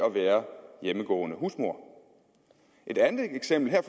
at være hjemmegående husmor et andet eksempel er